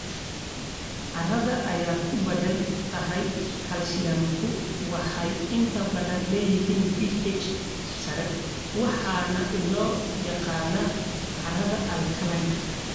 Carrada ay ku badan tahay kaalshiyamku waxay inta badan leeyihiin pH sare waxaana loo yaqaannaa carrada alkaline.